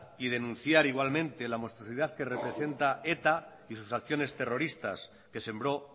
y denunciar igualmente la monstruosidad que representa eta y sus acciones terroristas que sembró